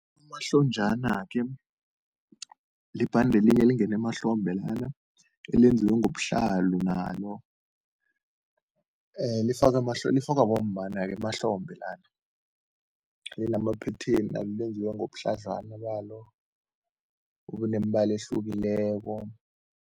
Unomahlonjana-ke libhande elinye elingena emahlombe lana, elenziwe ngobuhlalu nalo. Lifakwa lifakwa bomma nabo emahlombe lana, linama-pattern then lenziwe ngobuhladlwana balo, unemibala ehlukileko.